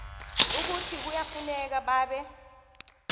ukuthi kuyafuneka babe